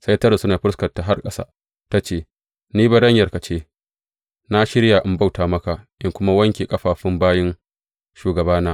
Sai ta rusuna da fuskarta har ƙasa ta ce, Ni baranyarka ce, na shirya in bauta maka in kuma wanke ƙafafun bayin shugabana.